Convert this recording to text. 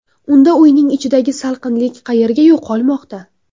Unda uyning ichidagi salqinlik qayerga yo‘qolmoqda?